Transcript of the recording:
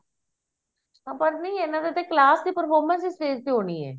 ਅਹ ਪਰ ਨਹੀਂ ਇਹਨਾਂ ਦੀ class ਦੀ performance ਵੀ stage ਤੇ ਹੋਣੀ ਐ